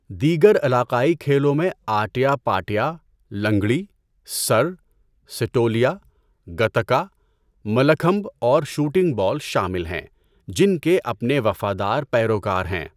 دیگر علاقائی کھیلوں میں آٹیا پاٹیا، لنگڑی، سر، سیٹولیا، گٹکا، ملاکھمب اور شوٹنگ بال شامل ہیں جن کے اپنے وفادار پیروکار ہیں۔